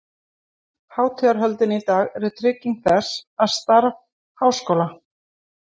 Hátíðahöldin í dag eru trygging þess, að starf Háskóla